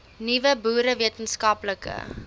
nuwe boere wetenskaplike